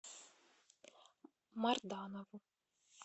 марданову